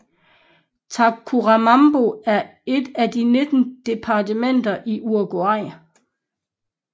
Tacuarembó er et af de 19 departementer i Uruguay